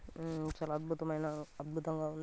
ఉమ్మ్ చాలా అద్భుతమైన అద్భితంగా ఉం --